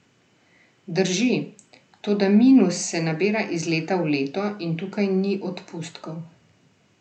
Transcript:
Drži, toda minus se nabira iz leta v leto in tukaj ni odpustkov.